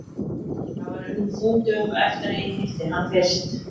Það var raunar fimm dögum eftir að ég hitti hann fyrst.